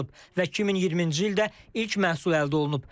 Və 2020-ci ildə ilk məhsul əldə olunub.